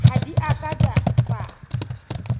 ha di a ka tsa